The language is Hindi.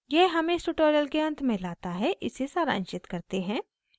यह हमें इस tutorial के अंत में let है इसे सारांशित करते हैं